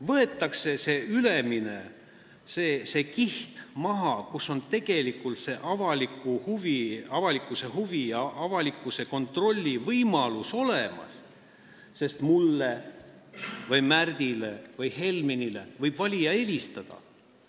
Võetakse maha see ülemine kiht, kus on tegelikult avalikkuse kontrolli võimalus olemas, sest mulle, Märdile või Helmenile võib valija helistada.